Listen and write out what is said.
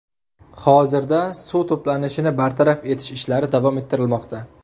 Hozirda suv to‘planishini bartaraf etish ishlari davom ettirilmoqda.